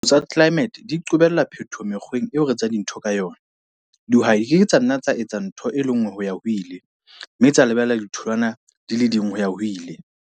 Diphetoho tsa tlelaemete di qobella phetoho mekgweng eo re etsang dintho ka yona. Dihwai di ke ke tsa nna tsa etsa ntho e le nngwe ho-ya-ho-ile, mme tsa lebella ditholwana di le ding ho-ya-ho-ile.